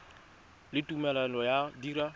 le tumelelo ya go dira